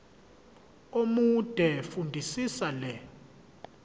omude fundisisa le